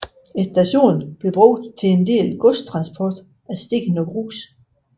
Stationen blev brugt til en del godstransport af sten og grus